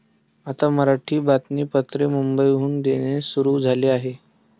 आता मराठी बातमीपत्रे मुंबईहून देणे सुरु झाले आहे.